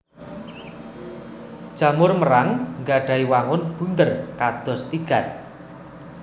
Jamur merang nggadhahi wangun bunder kados tigan